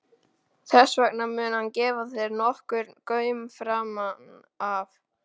Þess vegna mun hann gefa þér nokkurn gaum framan af.